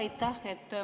Aitäh!